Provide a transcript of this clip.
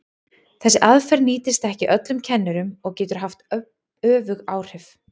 Þessi aðferð nýtist ekki öllum kennurum og getur haft öfug áhrif.